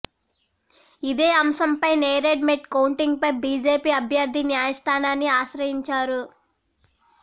ఇదే అంశం పై నేరేడ్ మెట్ కౌంటింగ్ పై బీజేపీ అభ్యర్థి న్యాయస్థానాన్ని ఆశ్రయించారు